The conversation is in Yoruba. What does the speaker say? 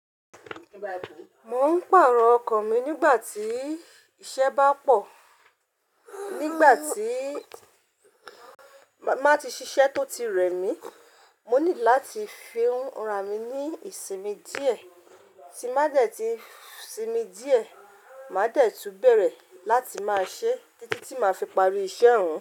Mo ń pàrọ̀ ọkọ̀ mi nígbà tí iṣẹ́ bá pọ̀. Nígbà tí màá ti ṣiṣẹ́ tó ti rẹ̀ mí, mo ní láti fùn ra mi ní ìsinmi díẹ̀, tí mbá dẹ̀ tí sinmi díẹ̀, màá dẹ̀ tun bẹ̀rẹ̀ láti máa ṣe títí tí màá fi parí iṣẹ́ ọ̀hun.